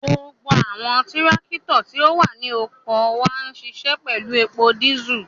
Gbogbo awọn tirakito ti o wa ni oko wa nṣiṣẹ pẹlu epo disú